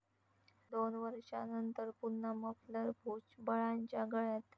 दोन वर्षानंतर पुन्हा 'मफलर' भुजबळांच्या गळ्यात!